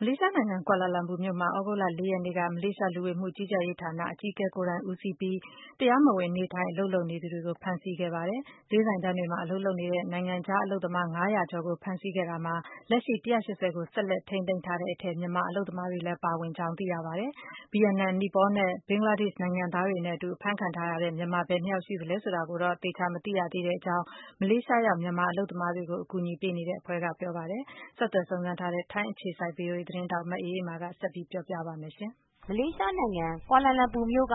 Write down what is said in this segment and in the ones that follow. မလေးရှားနိုင်ငံ၊ ကွာလာလမ်ပူမြို့မှာ သြဂုတ်လ ၅ ရက်နေ့က မလေးရှား လူဝန်မူကြီးကြပ်ရေးဌာနက တာဝန် အကြီးဆံုံးရှိသူ ကိုယ်တိုင် ဦးစီးပြီး တရားမဝင် နေထိုင် အလုပ် လုပ်ကိုင်နေသူတွေနဲ့ မြန်မာတွေရဲ့ ဈေးဆိုင်တန်းတွေကို ဝင်ရောက် ဖမ်းဆီးတဲ့ စစ်ဆင်ရေးတခု ပြုလုပ်ခဲ့ရာမှာ လူ ကျော်ကို ဖမ်းဆီး စစ်ဆေးခဲ့ပြီး အဲဒီထဲက လူ လောက်ကို ထိန်းသိမ်း ခဲ့ပါတယ်။ ဒီထဲမှာ တရားမဝင် နေထိုင် အလုပ်လုပ်နေသူ မြန်မာ ၊ ဘင်္ဂလားဒေ့ရှ် ၊နီပေါနဲ့ ဗီယက်နိုင်ငံသားတွေ ပါဝင်ပါတယ်။ ဒီအကြောင်း ထိုင်းအခြေစိုက် သတင်းထောက် မအေးအေးမာက သတင်းပေးပို့ထားပါတယ်။ မလေးရှားနိုင်ငံကွာလာလမ်ပူမြိုက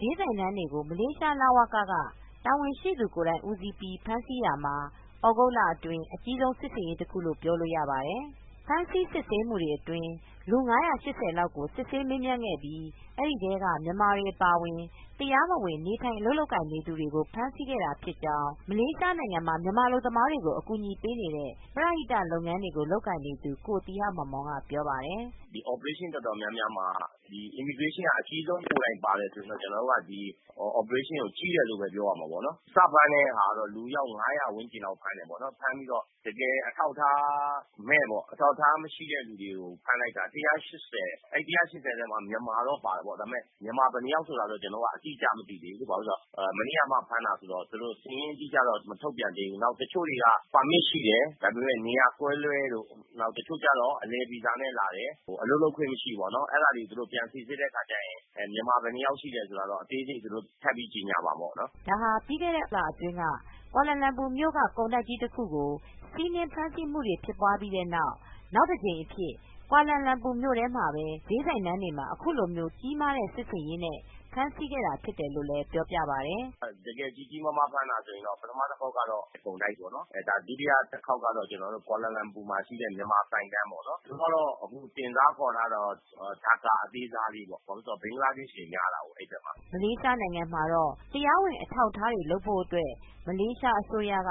ဈေးဆိုင်တန်းတွေကို မလေးရှား လဝက ကတာဝန်ရှိသူကိုယ်တိုင်ဦးစီးပြီး ဖမ်ဆီးရာမှာ သြဂုတ်လအတွင်း အကြီးဆုံး စစ်ဆင်ရေးတခုလို့ပြောလို့ရပါတယ်။ ဖမ်းဆီးစစ်ဆေးမူတွေအတွင်း လူ ၅၈၀လောက်ကို စစ်ဆေးမေးမြန်းခဲ့ပြီး အဲဒီထဲက မြန်မာတွေအပါအဝင် တရားမဝင်နေထိုင် အလုပ်လုပ်ကိုင်နေသူတွေကို ဖမ်းဆီးခဲ့တာဖြစ်ကြောင်း မလေးရှားနိုင်ငံမှာ အလုပ်သမားတွေကို ကူညီပေးနေတဲ့ ပရဟိတလုပ်ငန်းတွေကို လုပ်ကိုင်နေသူ ကိုသီဟမောင်မောင်က ပြောပြပါတယ်။ “ဒီ Operation တော်တော်များများမှာ Immigration က အကြီးဆုံးကိုယ်တိုင်ပါတယ်ဆိုရင် ကျနော်တို့ ဒီ Operationကို ကြီးတယ်လို့ပြောရမှာပေါ့။ စဖမ်းတဲ့ ဟာဆိုရင် လူအယောက် ၅၀၀ ဝန်းကျင်လောက်ဖမ်းတယ်ပေါ့နော်။ ဖမ်းပြီးတော့ တကယ်အထောက်အထားမဲ့ပေါ့နော် အထောက်အထားမရှိတဲ့သူတွေကို ဖမ်းလိုက်တာ ၁၈၀။ အဲဒီ ၁၈၀ ထဲမှာ မြန်မာတော့ပါတယ်ပေါ့ ဒါပေမယ့် မြန်မာဘယ်နှစ်ယောက်ဆိုတာတော့ ကျနော်တို့ အတိအကျမသိသေးဘူး။ ဘာဖြစ်လို့လဲဆိုတော့ မနေ့ကမှ ဖမ်းတာဆိုတော့ ၊ သူတို့ စာရင်းအတိအကျတော့ မထုတ်ပြန်သေးဘူး။ နောက်တချို့တွေက ပါမစ်ရှိတယ်၊ ဒါပေမယ့် နေရာကွဲလွဲလို့ ဒါပေမယ့် တချို့ကျတော့ အလည်ဗီဇာနဲ့ လာတယ် အလုပ်လုပ်ခွင့်မရှိဘူးပေါ့နော် အဲဒီတွေကို သူတို့ ပြန်စိစစ်တဲ့အခါကျရင် မြန်မာ ဘယ်နှစ်ယောက်ရှိတယ်ဆိုတာကတော့ အသေးစိတ်သူတို့ထပ်ပြီးတော့ ကြေညာမှာပေါ့နော်။” ဒါဟာ ပြီးခဲ့တဲ့ ဇူလိုင်လအတွင်းတုန်းက ကွာလာလမ်ပူမြို့က ကုန်တိုက်ကြီးတခုကို စီနင်းဖမ်းဆီးမူပြီးတဲ့နောက် နောက်တကြိမ်အဖြစ် ကွာလာလမ်ပူမြို့ထဲမှာပဲ ဈေးဆိုင်တန်းတွေမှာ အခုလိုကြီးမားတဲ့ စစ်ဆင်ရေးနဲ့ ဖမ်းဆီးခဲ့တာဖြစ်တယ်လို့ လည်းပြောပါတယ်။ “တကယ်ကြီးကြီးမားမား ဖမ်းတာဆိုရင်တော့ ပထမတခေါက်ကတော့ ကုန်တိုက်ပေါ့နော်၊ ဒါ ဒုတိယတခေါက်ကတော့ ကွာလာလမ်ပူမှာရှိတဲ့ မြန်မာဆိုင်တန်းတွေပေါ့နော် ။ သူကတော့ တင်စားခေါ်ထားတာကတော့ Dhaka အသေးစားလေးပေါ့နော် ဘာဖြစ်လို့လဲဆိုတော့ ဘင်္ဂလားဒေ့ရှ်တွေများတာပေါ့နော် အဲဒီဘက်မှာ။” မလေးရှားမှာတော့ တရားဝင်အထောက်အထားတွေလုပ်ဖို့ အတွက် မလေးရှားအစိုးရက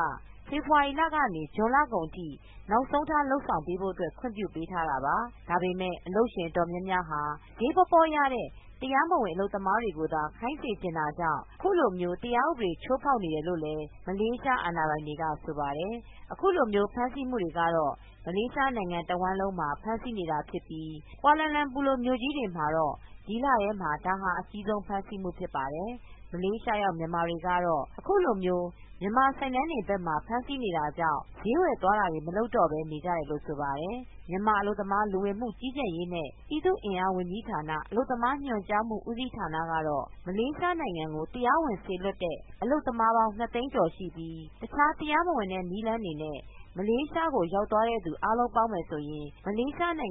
ဖေဖေါ်ဝါရီလကနေ ဇွန်လကုန်ထိ နောက်ဆုံးထား လုပ်ဆောင်ဖို့ အတွက် ခွင့်ပြုပေးထားတာပါ။ ဒါပေမယ့် အလုပ်ရှင်အတော်များများဟာ ဈေးပေါပေါရတဲ့ တရားမဝင်အလုပ်သမားတွေကိုသာ ခိုင်းစေချင်တာကြောင့် အခုလိုမျိုး တရားဥပဒေချိုးဖောက်နေတယ် လို့လည်း မလေးရှားအာဏာပိုင်တွေက ဆိုပါတယ်။ အခုလိုမျိုး ဖမ်းဆီးမူတွေကတော့ မလေးရှားနိုင်ငံတဝှမ်းလုံးမှာ ဖမ်းဆီးနေတာဖြစ်ပြီး ကွာလာလမ်ပူလိုမြို့ ကြီးမှာတော့ ဒီလထဲမှာ ဒါဟာအကြီးဆုံး ဖမ်းဆီးမူဖြစ်ပါတယ်။ မလေးရှားရောက်မြန်မာတွေကတော့ အခုလို မြန်မာဆိုင်တန်းတွေဘက်ကမှာ ဖမ်းဆီးနေတာကြောင့် ဈေးဝယ်သွားတာတွေ မလုပ်တော့ပဲ နေကြတယ်လို့ ဆိုပါတယ်။ မြန်မာ အလုပ်သမားလူဝင်မူကြီးကြပ်ရေးနဲ့ ပြည်သူအင်အားဝန်ကြီးဌာန ၊ အလုပ်သမားညွန်ကြားမှု ဦးစီးဌာနက တော့ မလေးရှားကို တရားဝင်စေလွတ်တဲ့ အလုပ်သမားပေါင်း ၂သိန်းကျော်ရှိပြီး တခြားတရားမဝင်တဲ့နည်းလမ်းတွေနဲ့ မလေးရှားကိုရောက်သွားသူအားလုံးပေါင်းရင် မလေးရှားမှာ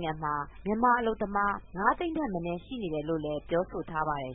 မြန်မာအလုပ်သမား ၅သိန်းထက်မနည်း ရှိနေတယ်လိုပြောဆိုထားပါတယ်